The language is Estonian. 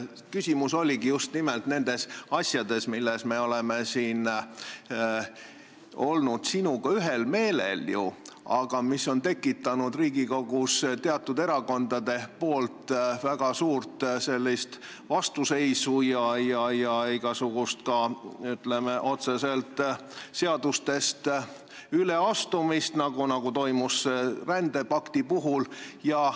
Küsimus on nimelt nendes asjades, milles me oleme olnud sinuga ühel meelel, aga mis on Riigikogus tekitanud teatud erakondade väga suurt vastuseisu ja ka, ütleme, otseselt seadustest üleastumist, nagu toimus rändepakti puhul.